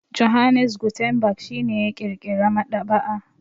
Johannes Gutenberg shi ne ya ƙirƙira maɗaba'a.